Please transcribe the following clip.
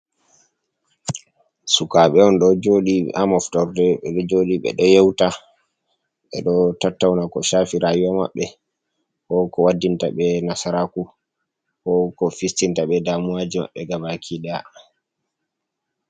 Sukabe on ɗo jodi ha moftorde, ɓeɗo joɗi ɓe ɗo yeuta ɓe ɗo tattauna ko Shafi rayuwa maɓbe, ko ko waddinta ɓe nasaraku ko ko fistinta ɓe damuwaji maɓɓe gabaki daya.